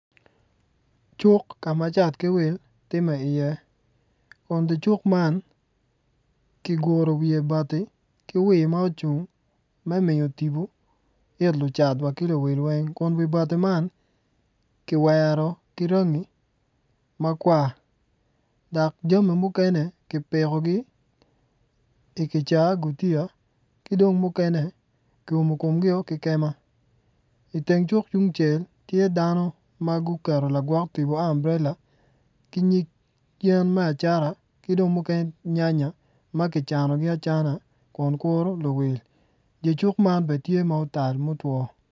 Cuk ka ma cat ki wil timme iye kun dye cuk man kiguro wiye bati ki wii ma ocung me miyo tipo ki lucat wa ki wil weng kun wi bati man kiwero ki rangi makwar dok jami mukene kipikogi ikicaa gutiya ki dong mukene kiumo komgio ki kema. Iteng cuk yungcel tye dano ma guketo lagwok tipo amburela ki nyig yen me acata ki dong mukene nyanya ma kicanogi acana kun kuro luwil dye cuk man bene tye ma otal mutwo.